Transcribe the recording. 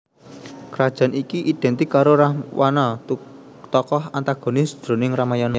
Krajan iki idhèntik karo Rahwana tokoh antagonis jroning Ramayana